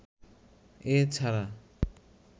এ ছাড়া